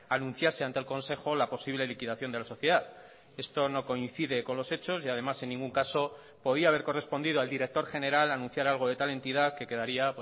anunciase ante el consejo la posible liquidación de la sociedad esto no coincide con los hechos y además en ningún caso podía haber correspondido al director general anunciar algo de tal entidad que quedaría